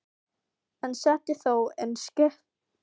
en setja þó enn svip á landslag.